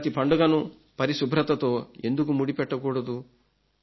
మన ప్రతి పండుగను పరిశుభ్రతతో ఎందుకు ముడిపెట్టకూడదు